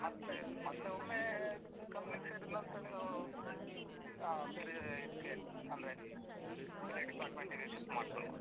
ಮತ್ತೆ, ಮತ್ತೆ ಒಮ್ಮೆ ಅಹ್ company ಗ್ ಸೇರಿದ್ನಂತ್ರ ನೀವು ಆ ಬೇರೆ ಇದಕ್ಕೆ, ಅಂದ್ರೆ ಬೇರೆ department ಗೆ shift ಮಾಡ್ಕೊಳ್ಬೋದು.